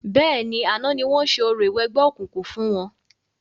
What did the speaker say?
Bẹ́ẹ̀ni, àná ni wọ́n ṣe orò ìwẹgbẹ́ òkùnkùn fún wọn.